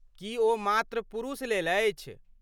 की ओ मात्र पुरुषलेल अछि?